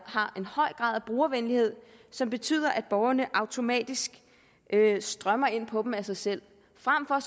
har en høj grad af brugervenlighed som betyder at borgerne automatisk strømmer ind på dem af sig selv frem for